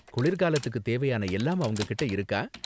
குளிர்காலத்துக்கு தேவையான எல்லாம் அவங்க கிட்ட இருக்கா?